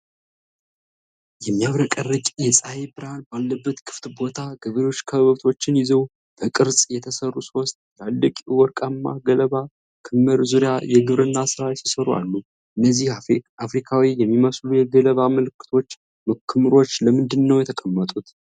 የሚያብረቀርቅ የፀሐይ ብርሃን ባለበት ክፍት ቦታ፣ ገበሬዎች ከብቶችን ይዘው በቅርጽ የተሰሩ ሶስት ትላልቅ የወርቃማ ገለባ ክምር ዙሪያ የግብርና ሥራ ሲሰሩ አሉ፤ እነዚህ አፍሪካዊ የሚመስሉ የገለባ ክምሮች ለምንድነው የተቀመጡት?